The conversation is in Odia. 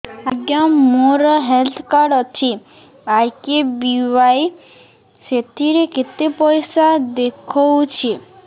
ଆଜ୍ଞା ମୋର ହେଲ୍ଥ କାର୍ଡ ଅଛି ଆର୍.କେ.ବି.ୱାଇ ସେଥିରେ କେତେ ପଇସା ଦେଖଉଛି